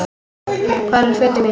Hvar eru fötin mín.?